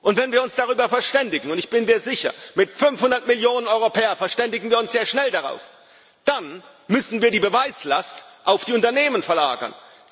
Wenn wir uns darüber verständigen und ich bin mir sicher, mit 500 Millionen Europäern verständigen wir uns sehr schnell darauf dann müssen wir die Beweislast auf die Unternehmen verlagern.